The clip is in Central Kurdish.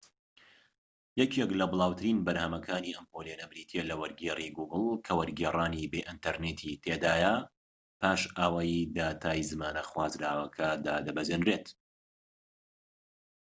یەکێك لە بڵاوترین بەرنامەکانی ئەم پۆلێنە بریتیە لە وەرگێری گوگڵ کە وەرگێڕانی بێ ئینتەرنێتی تێدایە پاش ئەوەی داتای زمانە خوازراوەکە دادەبەزێنرێت